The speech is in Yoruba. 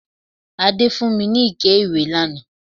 Adé fún mi ní ike ìwẹ̀ lánàá